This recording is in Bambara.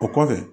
O kɔfɛ